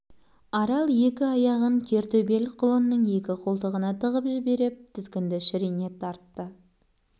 арал екі аяғын кер төбел құлынның екі қолтығына тыгып жіберіп тізгінді шірене тартты